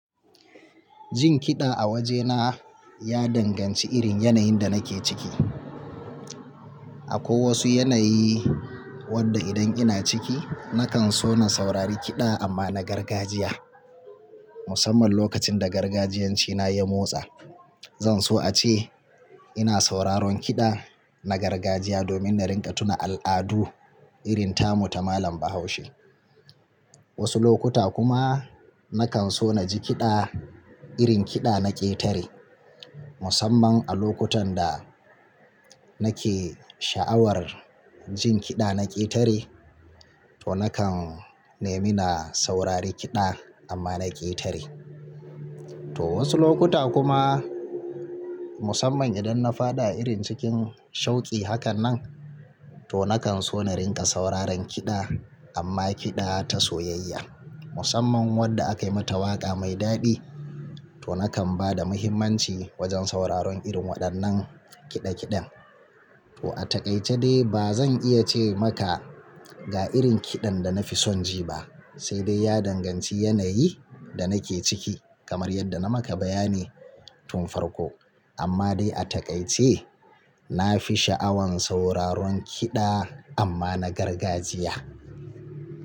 Jin kiɗa a wajena ya danganci irin yanayin da nake ciki. Akwai wasu yanayi wadda idan ina ciki nakan so na saurari kiɗa amma na gargajiya. Musamman lokacin da gargajiyancina ya motsa. Zan so ace ina sauraron kiɗa na gargajiya domin na ringa tuna al'adu irin tamu ta malam Bahaushe. Wasu lokuta kuma nakan so na ji kiɗa irin kiɗa na ƙetare. Musamman a lokutan da nake sha'awar jin kiɗa na ƙetare to nakan nemi na saurari kiɗa amma na ƙetare. To wasu lokuta kuma musamman idan na faɗa irin cikin shauki hakan nan to nakan so na ringa sauraron kiɗa amma kiɗa ta soyayya. Musamman wadda aka yi mata waƙa mai daɗi to nakan bada muhimmanci wajen sauraron irin waɗannan kiɗe kiɗen. To a takaice dai bazan iya ce maka ga irin kiɗan da na fi son ji ba, saidai ya danganci yanayi da nake ciki kamar yadda na maka bayani tun farko. Amma dai a takaice na fi sha'awar sauraron kiɗa amma na gargajiya.